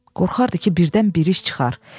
Qorxardı ki, birdən bir iş çıxar.